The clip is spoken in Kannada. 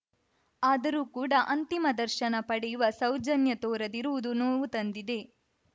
ಆದರೂ ಕೂಡ ಅಂತಿಮ ದರ್ಶನ ಪಡೆಯುವ ಸೌಜನ್ಯ ತೋರದಿರುವುದು ನೋವು ತಂದಿದೆ